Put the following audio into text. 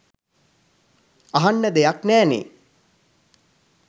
අහන්න දෙයක් නෑනේ.